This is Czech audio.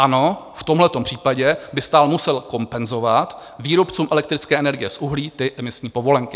Ano, v tomhle případě by stát musel kompenzovat výrobcům elektrické energie z uhlí ty emisní povolenky.